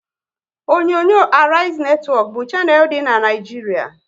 Onyonyo Arise netwọk bụ shanel dị n'Naijiria